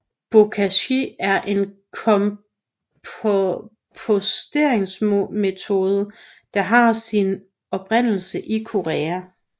Bokashi er en komposteringsmetode der har sin oprindelse i Korea